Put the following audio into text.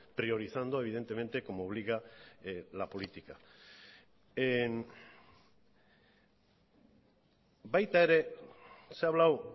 priorizando evidentemente como obliga la política baita ere se ha hablado